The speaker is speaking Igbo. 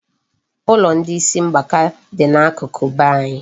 Ụlọ ndị isi mgbaka dị n'akụkụ be anyị.